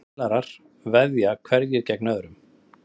Spilarar veðja hverjir gegn öðrum.